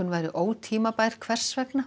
væri ótímabær hvers vegna